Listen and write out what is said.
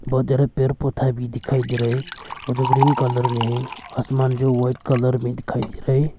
बहुत ज्यादा पेड़ पौधा भी दिखाई दे रहा है जो ग्रीन कलर में है आसमान जो व्हाइट कलर में दिखाई दे रहा है।